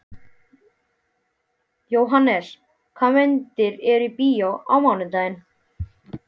Jóhannes, hvaða myndir eru í bíó á mánudaginn?